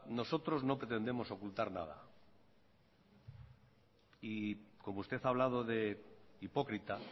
nosotros no pretendemos ocultar nada y como usted ha hablado de hipócrita